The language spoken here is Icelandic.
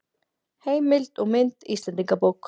Heimild og mynd Íslendingabók.